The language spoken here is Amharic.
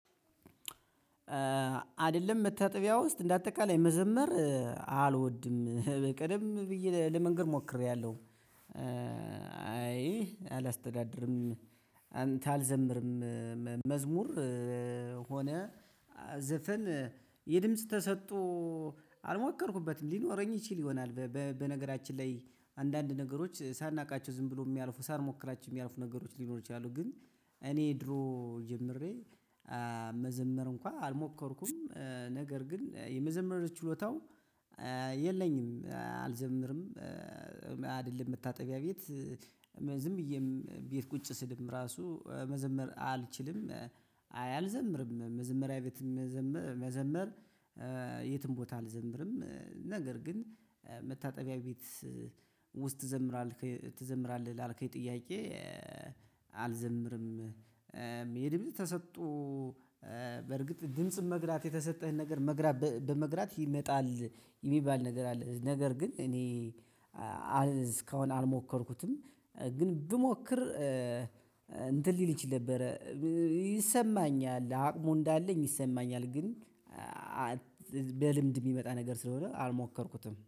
አይደለም መታጠቢያ ውስጥ እንደ አጠቃላይ መዘመር አልወድም ቀደም ብዬ ለመንገር ሞክሬያለሁ። አይ አላስተዳድርም። አንተ አልዘምርም። መዝሙር ሆነ ዘፈን የድምጽ ተሰጦ አልሞከርኩበትም ሊኖረኝ ይችል ይሆናል። በነገራችን ላይ አንዳንድ ነገሮች ሳናውቃቸው ዝም ብሎ የሚያልፉ ሳንሞክራችሁ የሚያልፉ ነገሮች ሊኖሩ ይችላሉ። ግን እኔ ድሮ ጀምሬ መዘመር እንኳን አልሞከርኩም። ነገር ግን የመዘመር ችሎታው የለኝም አልዘምርም። አይደለም መታጠቢያ ቤት ዝም ብዬም ቤት ቁጭ ስልም ራሱ መዘመር አልችልም። አይ አልዘምርም መዘመሪያ ቤት መዘመር የትም ቦታ አልዘምርም። ነገር ግን መታጠቢያ ቤት ውስጥ ትዘምራለህ ትዘምራለህ ላልከኝ ጥያቄ አልዘምርም። የድምጽ ተሰጥኦ በርግጥ ድምጽን መግራት የተሰጠህን ነገር መግራት በመግራት ይመጣል የሚባል ነገር አለ። ነገር ግን እኔ እስካሁን አልሞከርኩትም። ግን ብሞክር እንትን ሊል ይችል ነበረ ይሰማኛል አቅሙ እንዳለኝ ይሰማኛል። ግን በልምድ የሚመጣ ነገር ስለሆነ አልሞከርኩትም